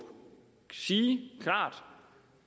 sige